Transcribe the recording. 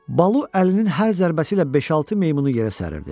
Balu əlinin hər zərbəsi ilə beş-altı meymunu yerə səririrdi.